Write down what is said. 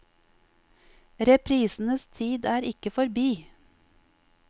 Reprisenes tid er ikke forbi.